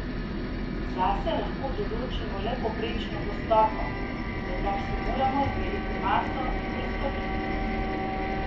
Zase lahko določimo le povprečno gostoto, za kar si moramo izmeriti maso in prostornino.